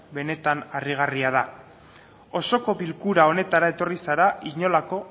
benetan harrigarria da osoko bilkura honetara etorri zara inolako